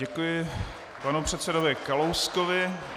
Děkuji panu předsedovi Kalouskovi.